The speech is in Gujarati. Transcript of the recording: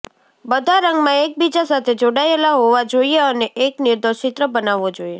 બધા રંગમાં એકબીજા સાથે જોડાયેલા હોવા જોઈએ અને એક નિર્દોષ ચિત્ર બનાવવો જોઈએ